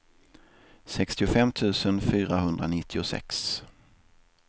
sextiofem tusen fyrahundranittiosex